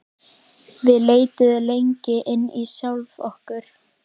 Við leituðum lengra inn í sjálf okkur.